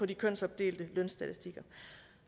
de kønsopdelte lønstatistikker